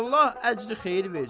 Allah əcri xeyir versin.